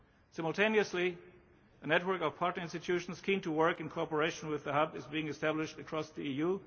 Simultaneously a network of partner institutions keen to work in cooperation with the Hub is being established across the